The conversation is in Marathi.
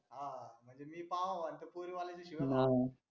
हा हा म्हणजे मी पाहाव आणि त्या पोरी वल्याचे शिव्या खाव अं